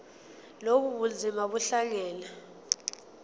lobu bunzima buhlangane